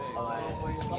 Ay!